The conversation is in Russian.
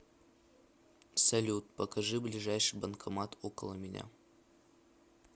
салют покажи ближайший банкомат около меня